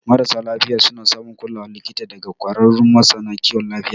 Marasa lafiya suna samun kulawar likita daga ƙwararrun masana kiwon lafiya.